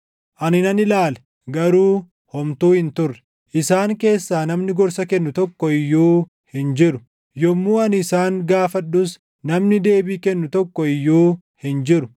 Ani nan ilaale; garuu homtuu hin turre; isaan keessaa namni gorsa kennu tokko iyyuu hin jiru; yommuu ani isaan gaafadhus namni deebii kennu tokko iyyuu hin jiru.